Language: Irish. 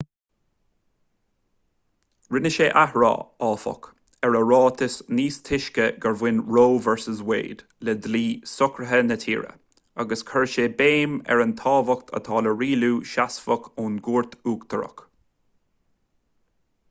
rinne sé athrá áfach ar a ráiteas níos túisce gur bhain roe v wade le dlí socraithe na tíre agus chuir sé béim ar an tábhacht atá le rialú seasmhach ón gcúirt uachtarach